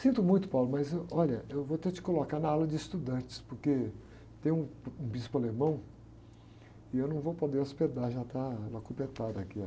Sinto muito, mas, ãh, olha, eu vou ter que te colocar na ala de estudantes, porque tem um bispo alemão e eu não vou poder hospedar, já está aqui a...